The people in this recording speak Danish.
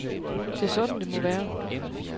Det er sådan, det må være.